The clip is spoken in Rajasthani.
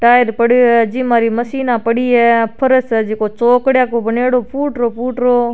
टायर पड़ियो है जिम्मा रे मसिनो पड़ी है फरस है जिसे चोकड़ा सा बनायेदो फूटरो फूटरो।